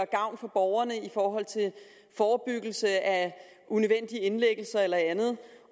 gavn for borgerne i forhold til forebyggelse af unødvendige indlæggelser eller andet